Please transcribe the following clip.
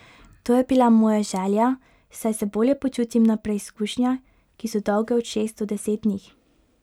To je bila moja želja, saj se bolje počutim na preizkušnjah, ki so dolge od šest do deset dni.